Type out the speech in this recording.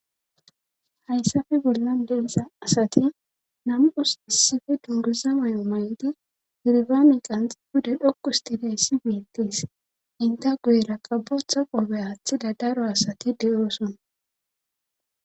Hayssafe bollan deiza asati nam.os issife dunguza may'o may'idi hirbami qanx gude dhoku stidayssi miittis inte guyera qabotha qoobe aaththida daro asati de'oosona.